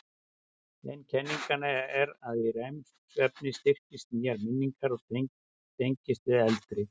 Ein kenningin er að í REM-svefni styrkist nýjar minningar og tengist við eldri.